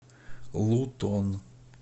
лутон